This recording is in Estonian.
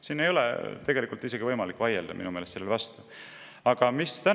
Minu meelest ei ole sellele võimalik siin vastu vaielda.